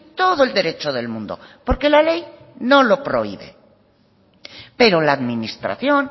todo el derecho del mundo porque la ley no lo prohíbe pero la administración